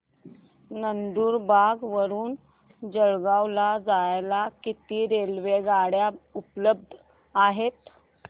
नंदुरबार वरून जळगाव ला जायला किती रेलेवगाडया उपलब्ध आहेत